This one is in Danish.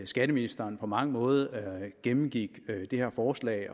skatteministeren på mange måder gennemgik det her forslag